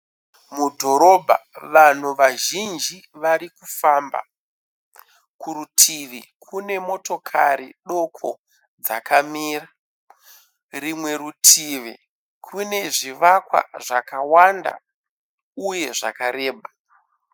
Mudhorobha vanhu vazhinji varikufamba. Kurutivi kune motokari doko dzakamira. Rimwe rutivi kune zvivakwa zvakawanda uye zvakareba.